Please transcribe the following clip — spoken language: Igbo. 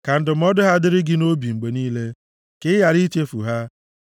Ka ndụmọdụ ha dịrị gị nʼobi mgbe niile, ka ị ghara ichefu ha.